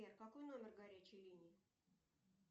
сбер какой номер горячей линии